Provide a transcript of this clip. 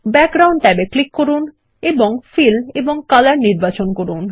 background ট্যাবে click করুন এবং ফিল এবং কলর নির্বাচন করুন